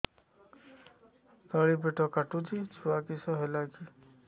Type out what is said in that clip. ତଳିପେଟ କାଟୁଚି ଛୁଆ କିଶ ହେଲା କି